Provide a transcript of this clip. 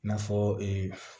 I n'a fɔ ee